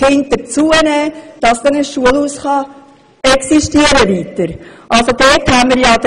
in einem von der Schliessung bedrohten Schulhaus unterrichten, damit dieses weiter existieren kann.